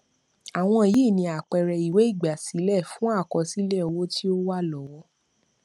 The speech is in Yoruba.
àwọn yìí ni àpẹẹrẹ ìwé ígbásílẹ fun àkọsílẹ owo tí o wa lọwo